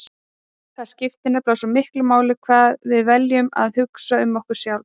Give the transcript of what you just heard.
Það skiptir nefnilega svo miklu máli hvað við veljum að hugsa um okkur sjálf.